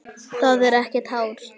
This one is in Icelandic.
Þetta er ekkert hátt.